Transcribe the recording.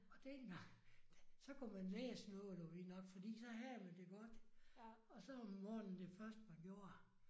Og dengang så kunne man lære sådan noget du ved nok fordi så havde man det godt og så om morgenen det første man gjorde